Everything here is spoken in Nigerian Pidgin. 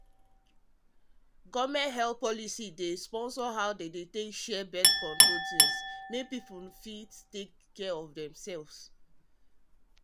government um health policy dey sponsor how dem dey share birth-control things make people for fit take care of themself